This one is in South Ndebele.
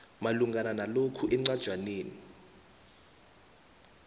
malungana nalokhu encwajaneni